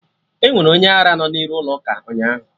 Enwere onye ara no n'iru ụlọ ụka ụnyaahụ